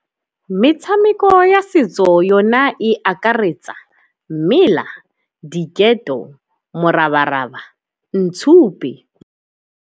Metshameko ya setso yona e akaretsa mmela, diketo, morabaraba, ntshupe.